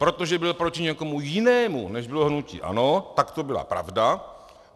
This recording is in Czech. Protože byl proti někomu jinému, než bylo hnutí ANO, tak to byla pravda.